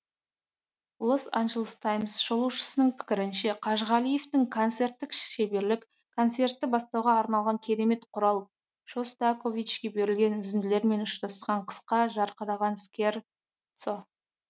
лос анджелес таймс шолушысының пікірінше қажғалиевтің концерттік шеберлік концертті бастауға арналған керемет құрал шостаковичке берілген үзінділермен ұштасқан қысқа жарқыраған скерцо